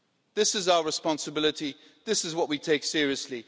This is our responsibility. This is what we take seriously.